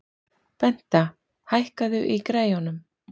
Benta, hækkaðu í græjunum.